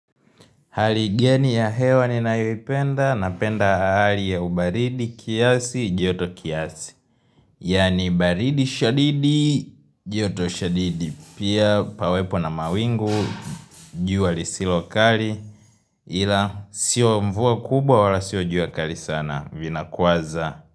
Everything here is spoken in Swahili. Hali geni ya hewa ninayoipenda, napenda ahali ya ubaridi, kiasi, joto kiasi. Yani baridi shadidi, joto shadidi. Pia pawepo na mawingu, jua lisilokali. Ila sio mvua kubwa wala sio jua kali sana. Vina kuwaza.